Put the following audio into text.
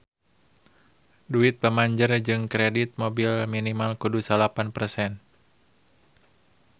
Duit pamanjer jang kredit mobil minimal kudu salapan persen